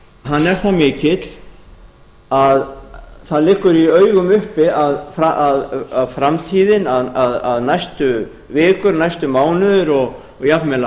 hann er það mikill að það liggur í augum uppi að næstu vikur næstu mánuðir og jafnvel